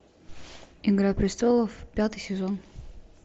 игра престолов пятый сезон